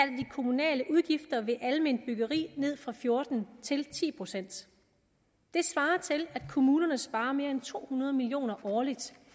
kommunale udgifter ved alment byggeri ned fra fjorten til ti procent det svarer til at kommunerne sparer mere end to hundrede million årligt